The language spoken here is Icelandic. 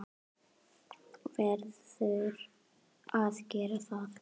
Verður að gera það.